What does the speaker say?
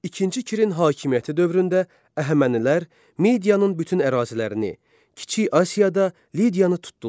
İkinci Kirin hakimiyyəti dövründə Əhəmənilər, Midiyanın bütün ərazilərini, Kiçik Asiyada Lidiyanı tutdular.